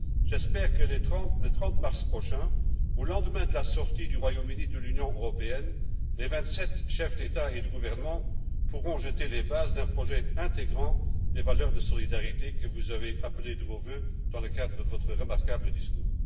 J'espère que le 30 mars prochain, au lendemain de la sortie du Royaume Uni de l'Union européenne, les vingt sept chefs d'État et de gouvernement pourront jeter les bases d'un projet intégrant les valeurs de solidarité, que vous avez appelées de vos vœux au cours de votre remarquable discours.